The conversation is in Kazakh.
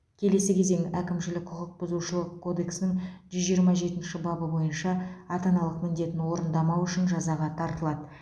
келесі кезең әкімшілік құқық бұзушылық кодексінің жүз жиырма жетінші бабы бойынша ата аналық міндетін орындамау үшін жазаға тартылады